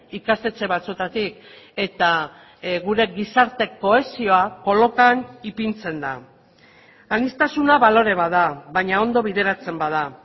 ikastetxe batzuetatik eta gure gizarte kohesioa kolokan ipintzen da aniztasuna balore bat da baina ondo bideratzen bada